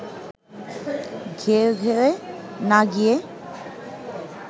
ঘেউঘেউএ না গিয়ে